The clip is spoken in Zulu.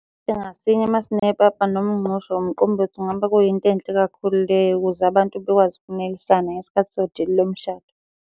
Masine papa noma umgqushi or umqombothi ngoba kuyinto enhle kakhulu leyo ukuze abantu bekwazi ukunelisana ngesikhathi sedili lomshado.